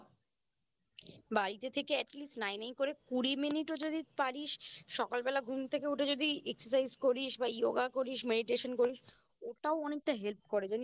বাড়িতে থেকে Atleast নাই নাই করে যদি কুড়ি Minute ও পারিস সকালবেলা ঘুম থেকে উঠে যদি Exercise করিস বা Yoga করিস Meditation করিস ওটাও অনেকটা Help করে জানিস তো